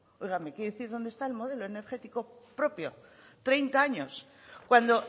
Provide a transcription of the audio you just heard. oiga me quiere decir dónde está el modelo energético propio treinta años cuando